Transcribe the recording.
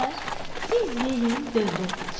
Siz yeyin, dövrə keçin.